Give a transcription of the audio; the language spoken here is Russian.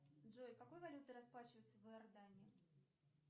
джой какой валютой расплачиваются в иордании